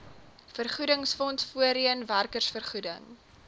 vergoedingsfonds voorheen werkersvergoeding